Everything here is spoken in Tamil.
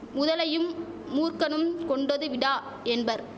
முதலையும் மூர்க்கனும் கொண்டது விடா என்பர்